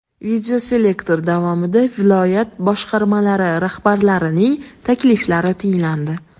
Videoselektor davomida viloyat boshqarmalari rahbarlarining takliflari tinglandi.